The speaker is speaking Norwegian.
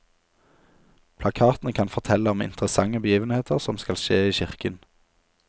Plakatene kan fortelle om interessante begivenheter som skal skje i kirken.